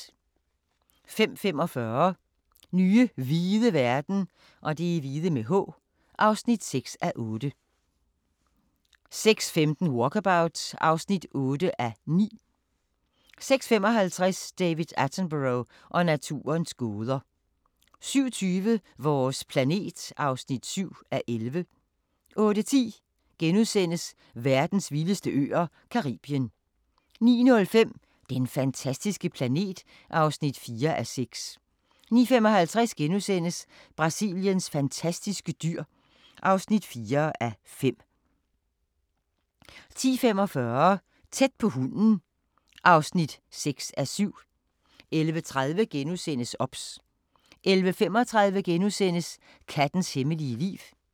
05:45: Nye hvide verden (6:8) 06:15: Walkabout (8:9) 06:55: David Attenborough og naturens gåder 07:20: Vores planet (7:11) 08:10: Verdens vildeste øer - Caribien (2:5)* 09:05: Den fantastiske planet (4:6) 09:55: Brasiliens fantastiske dyr (4:5)* 10:45: Tæt på hunden (6:7) 11:30: OBS * 11:35: Kattens hemmelige liv *